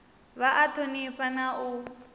vha a thonifha na u